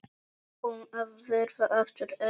Um að verða aftur einn.